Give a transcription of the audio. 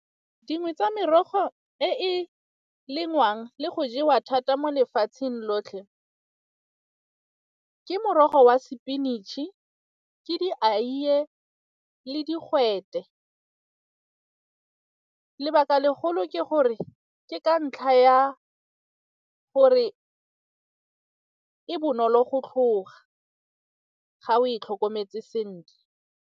Dingwe tsa merogo e e lengwang le go jewa thata mo lefatsheng lotlhe ke morogo wa spinach-e, ke dieiye le digwete. Lebaka legolo ke gore ke ka ntlha ya gore e bonolo go tlhoga ga o e tlhokometse sentle.